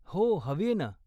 हो, हवीय न.